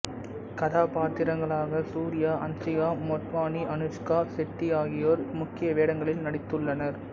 கதாபாத்திரங்களாக சூர்யா ஹன்சிகா மோட்வானி அனுஷ்கா செட்டி ஆகியோர் முக்கிய வேடங்களில் நடித்துள்ளனர்